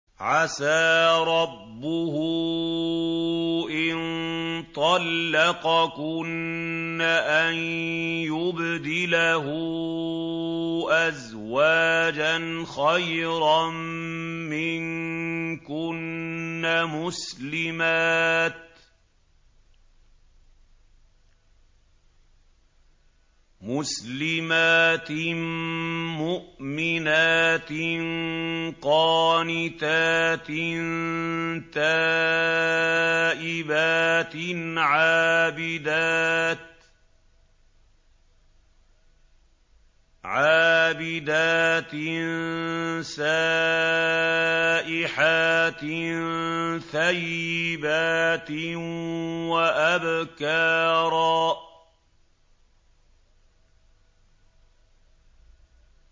عَسَىٰ رَبُّهُ إِن طَلَّقَكُنَّ أَن يُبْدِلَهُ أَزْوَاجًا خَيْرًا مِّنكُنَّ مُسْلِمَاتٍ مُّؤْمِنَاتٍ قَانِتَاتٍ تَائِبَاتٍ عَابِدَاتٍ سَائِحَاتٍ ثَيِّبَاتٍ وَأَبْكَارًا